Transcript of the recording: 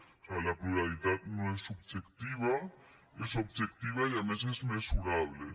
o sigui la pluralitat no és subjectiva és objectiva i a més és mesurable